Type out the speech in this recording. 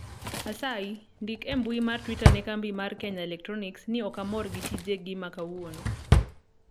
asayi ndik e mbui mar twita ne kambi mar kenya electronics ni ok amor gi tije gi ma kawuono